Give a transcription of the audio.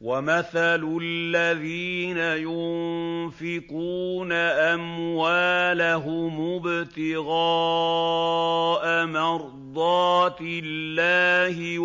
وَمَثَلُ الَّذِينَ يُنفِقُونَ أَمْوَالَهُمُ ابْتِغَاءَ مَرْضَاتِ اللَّهِ